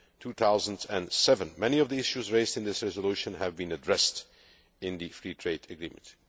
2007. Many of the issues raised in this resolution have been addressed in the free trade agreement.